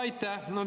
Aitäh!